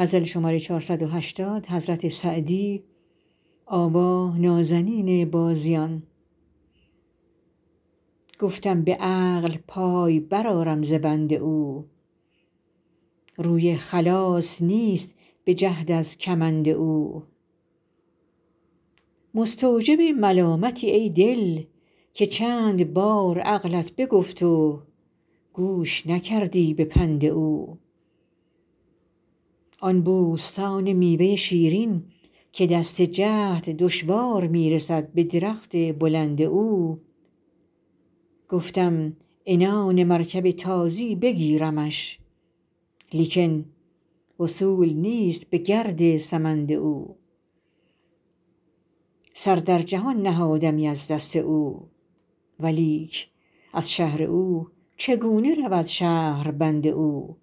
گفتم به عقل پای برآرم ز بند او روی خلاص نیست به جهد از کمند او مستوجب ملامتی ای دل که چند بار عقلت بگفت و گوش نکردی به پند او آن بوستان میوه شیرین که دست جهد دشوار می رسد به درخت بلند او گفتم عنان مرکب تازی بگیرمش لیکن وصول نیست به گرد سمند او سر در جهان نهادمی از دست او ولیک از شهر او چگونه رود شهربند او